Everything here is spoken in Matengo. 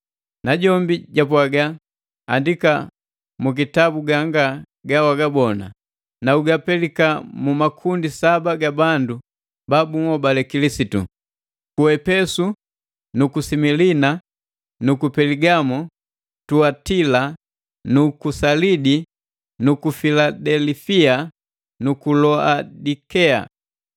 Najombi japwaga, “Andika mu kitabu ganga ga wagabona, na ugapelika mu makundi saba ga bandu ba bunhobale Kilisitu: Ku Epesu nu ku Similina na ku Peligamo ku Tuatila na ku Salidi nu ku Filadelifia nu ku Laodikea.”